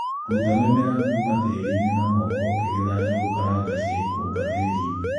Ruta mĩmera kũma tĩrinĩ na moko ũkĩgetha njũgũkaranga cia ikũmba tĩrinĩ.